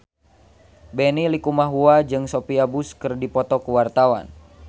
Benny Likumahua jeung Sophia Bush keur dipoto ku wartawan